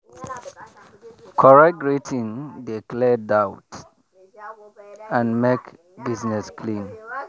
correct greeting dey clear doubt and make business clean.